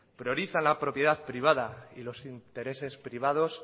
priorizan la propiedad privada y los intereses privados